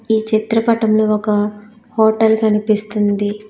ఈ చిత్రపటం లో ఒక హోటల్ కనిపిస్తుంది.